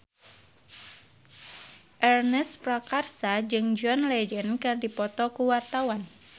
Ernest Prakasa jeung John Legend keur dipoto ku wartawan